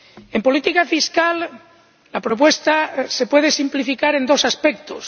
En política fiscal, la propuesta se puede simplificar en dos aspectos.